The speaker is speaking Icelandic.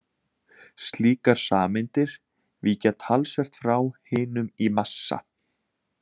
Slíkar sameindir víkja talsvert frá hinum í massa.